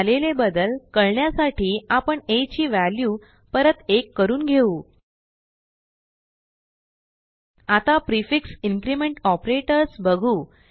झालेले बदल कळण्यासाठी आपण आ ची व्हॅल्यू परत 1 करून घेऊ आता प्रिफिक्स इन्क्रिमेंट ऑपरेटर्स बघू